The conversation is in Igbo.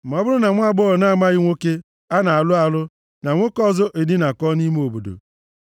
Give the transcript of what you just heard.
Ma ọ bụrụ na nwaagbọghọ na-amaghị nwoke a na-alụ alụ na nwoke ọzọ edinakọọ nʼime obodo,